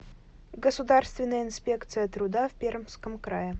государственная инспекция труда в пермском крае